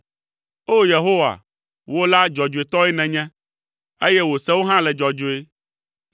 O! Yehowa, wò la, dzɔdzɔetɔe nènye, eye wò sewo hã le dzɔdzɔe.